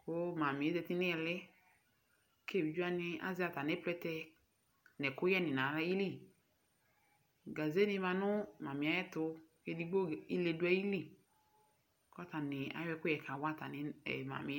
kʋ Mami zati n'ihili k'evidze wani azɛ atami plɛtɛ n'ɛkʋyɛni nayili Gake ni ma nʋ Mami yɛ tʋ Edigbo ile dʋ ayili kʋ atani ayɔ ɛkʋyɛ kawa atami Mami